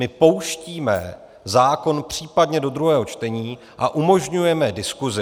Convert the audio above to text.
My pouštíme zákon případně do druhého čtení a umožňujeme diskusi.